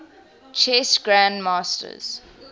chess grandmasters